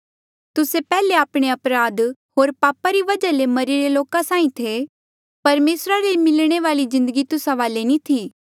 तुस्से पैहले आपणे अपराध होर पापा री वजहा ले मरिरे लोका साहीं थे परमेसरा ले मिलणे वाली जिदंगी तुस्सा वाले नी थी